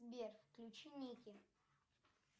сбер включи ники